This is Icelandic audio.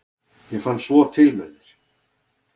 ég fann svo til með þér!